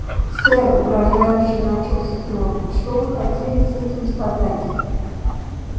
сэр угрожающе начал стюарт что вы хотели с этим сказать